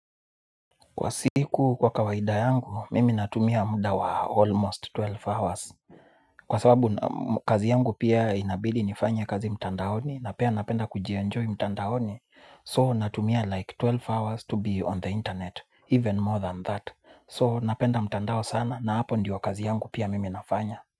Kwa siku kwa kawaida yangu mimi natumia muda wa almost twelve hours. Kwa sababu kazi yangu pia inabidi nifanye kazi mtandaoni na pia napenda kujienjoy mtandaoni. So natumia like twelve hours to be on the internet even more than that. So napenda mtandao sana na hapo ndio wa kazi yangu pia mimi nafanya.